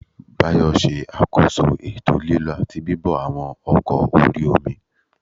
Báyọ̀ ṣe àkóso ètò lílọ àti bíbọ̀ àwọn ọkọ̀ orí-omi